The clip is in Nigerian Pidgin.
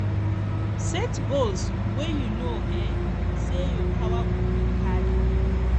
set goals wey you know um sey your power go fit carry